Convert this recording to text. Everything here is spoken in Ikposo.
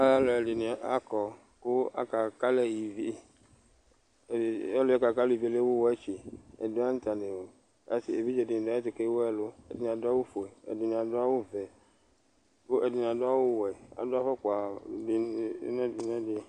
Alu ɛɖɩ nɩ akɔ ku aka kalɛ ɩvɩ Ɔlu yɛ bua ku alu ɩvɩ yɛ ewu wɛtsɩ Ɛɖɩwa ta newu Evɩdze ɖɩ nɩ ɖu ayɛtu, kewu ɛlu, ɛɖɩ nɩ aɖu awu foe ɛɖɩ aɖu awu vɛ ku ɛɖɩ nɩ aɖu awu wɛ Aɖu afukpa ɖɩnɩ nɛɖ nɛɖɩ